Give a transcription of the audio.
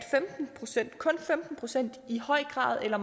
kun femten procent i høj grad eller